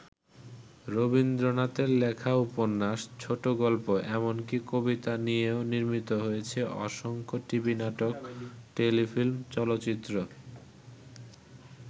রবীন্দ্রনাথের লেখা উপন্যাস, ছোটগল্প এমনকি কবিতা নিয়েও নির্মিত হয়েছে অসংখ্য টিভি নাটক, টেলিফিল্ম, চলচ্চিত্র।